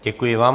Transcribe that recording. Děkuji vám.